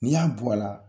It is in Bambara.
N'i y'a bɔ a la